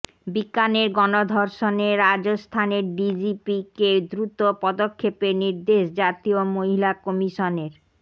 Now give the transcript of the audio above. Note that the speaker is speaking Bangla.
বিকানের গণধর্ষণে রাজস্থানের ডিজিপিকে দ্রুত পদক্ষেপের নির্দেশ জাতীয় মহিলা কমিশনের